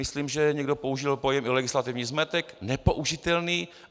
Myslím, že někdo použil i pojem legislativní zmetek, nepoužitelný.